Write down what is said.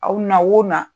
Aw na o na